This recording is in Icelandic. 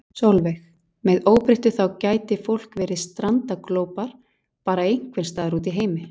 Sólveig: Með óbreyttu þá gæti fólk verið strandaglópar bara einhvern staðar úti í heimi?